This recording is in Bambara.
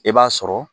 I b'a sɔrɔ